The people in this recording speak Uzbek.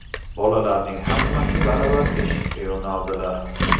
Bolalarning hammasi baravar eshikka yo‘naldilar.